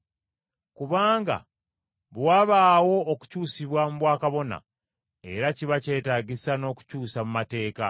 Kubanga bwe wabaawo okukyusibwa mu bwakababona, era kiba kyetaagisa n’okukyusa mu mateeka.